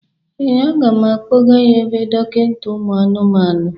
Ee, aga m akpọga ya ebe dọkịnta ụmụ anụmanụ.